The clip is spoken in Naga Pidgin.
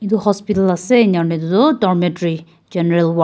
edu hospital ase enakura edu tu domatry general .